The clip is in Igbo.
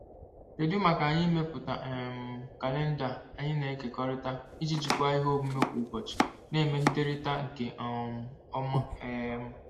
Kedu maka anyị ịmepụta um kalenda anyị na-ekekọrịta iji jikwaa ihe omume kwa ụbọchị na-emegiderịta nke um ọma? um